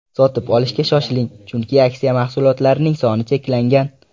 Sotib olishga shoshiling, chunki aksiya mahsulotlarining soni cheklangan!